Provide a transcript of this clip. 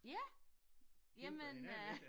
Ja? Jamen øh